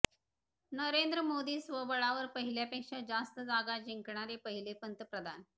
नरेंद्र मोदी स्वबळावर पहिल्यापेक्षा जास्त जागा जिंकणारे पहिले पंतप्रधान